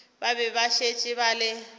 be ba šetše ba le